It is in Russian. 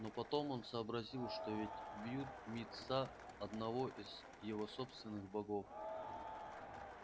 но потом он сообразил что ведь бьют мит са одного из его собственных богов